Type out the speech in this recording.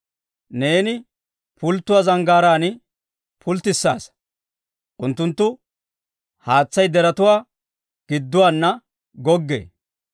Neeni pulttotuwaa zanggaaraan pulttissaasa; unttunttu haatsay deretuwaa gidduwaana goggee.